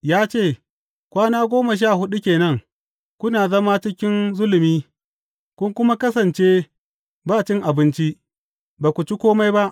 Ya ce, Kwana goma sha huɗu ke nan, kuna zama cikin zulumi kun kuma kasance ba abinci, ba ku ci kome ba.